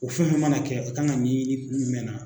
O fɛn min mana kɛ a kan ka ɲɛɲini kun jumɛn na